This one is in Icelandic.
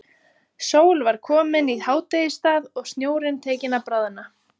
Sól var komin í hádegisstað og snjórinn tekinn að bráðna.